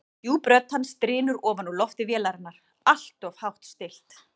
Djúp rödd hans drynur ofan úr lofti vélarinnar, alltof hátt stillt.